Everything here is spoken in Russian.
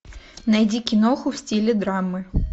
найди киноху в стиле драмы